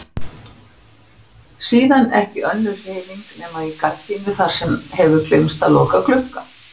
Síðan ekki önnur hreyfing nema í gardínu þar sem hefur gleymst að loka glugga.